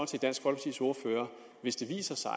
hvis det viser sig